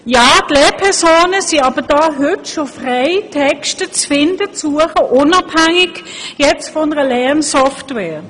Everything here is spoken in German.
Die Lehrpersonen sind aber heute schon frei, Texte zu suchen, unabhängig von einer Lernsoftware.